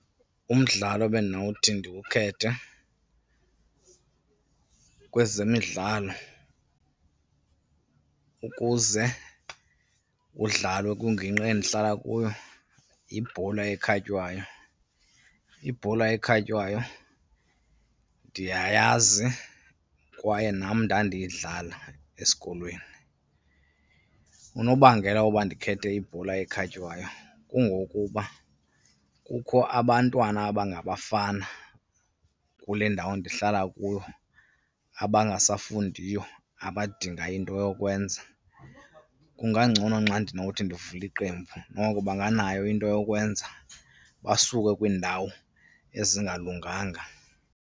Umdlalo ebendinowuthi ndiwukhethe kwezemidlalo ukuze udlalwe kwingingqi endihlala kuyo yibhola ekhatywayo. Ibhola ekhatywayo ndiyayazi kwaye nam ndandiyidlala esikolweni. Unobangela woba ndikhethe ibhola ekhatywayo kungokuba kukho abantwana abangabafana kule ndawo ndihlala kuyo abangasafundiyo abadinga into yokwenza. Kungangcono nxa ndinowuthi ndivule iqembu, noko banganayo into yokwenza basuke kwiindawo ezingalunganga.